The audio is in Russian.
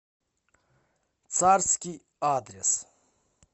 царский адрес